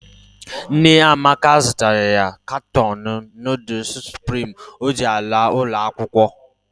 Nne Amaka zụtara ya katọọnụ nudul Suprimi o ji laa ụlọakwụkwọ